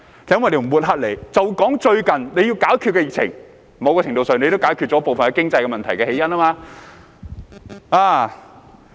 就來談談最近當政府應對疫情時，某程度上也解決了部分經濟問題的起因。